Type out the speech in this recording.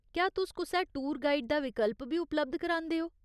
क्या तुस कुसै टूर गाइड दा विकल्प बी उपलब्ध करांदे ओ ?